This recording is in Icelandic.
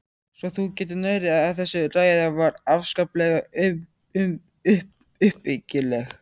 Svo þú getur nærri, að þessi ræða var afskaplega uppbyggileg!!